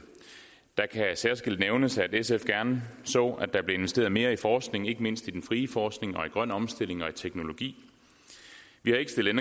det kan særskilt nævnes at sf gerne så at der blev investeret mere i forskning ikke mindst i den frie forskning og i grøn omstilling og i teknologi vi har ikke stillet